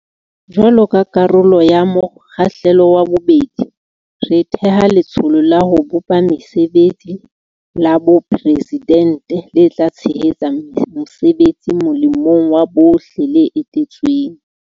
Jwaloka karolo ya mo kgahlelo wa bobedi, re theha Letsholo la ho bopa Mesebetsi la Boporesidente le tla tshe hetsa mosebetsi molemong wa bohle le eteletsweng.